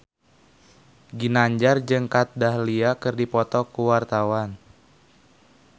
Ginanjar jeung Kat Dahlia keur dipoto ku wartawan